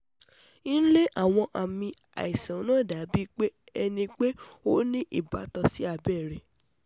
Nle awọn aami àìsàn naa dabi pe ẹnipe o ni ibatan si abẹrẹ